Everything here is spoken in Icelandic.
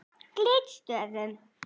Glitstöðum